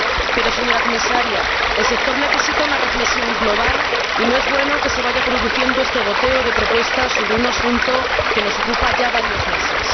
Pero, señora Comisaria, el sector necesita una reflexión global y no es bueno que se produzca este goteo de propuestas sobre un asunto que nos ocupa ya varios meses.